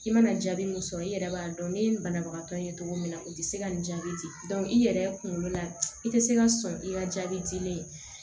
I mana jaabi mun sɔrɔ i yɛrɛ b'a dɔn ne ni banabagatɔ ye cogo min na u tɛ se ka nin jaabi i yɛrɛ kunkolo la i tɛ se ka sɔn i ka jaabilen